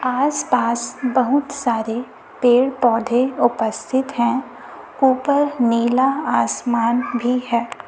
आस पास बहुत सारे पेड़ पौधे उपस्थित हैं ऊपर नीला आसमान भी है।